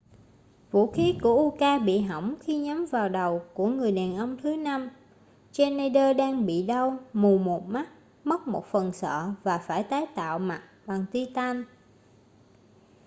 vũ khí của uka bị hỏng khi nhắm vào đầu của người đàn ông thứ năm schneider đang bị đau mù một mắt mất một phần sọ và phải tái tạo mặt bằng titan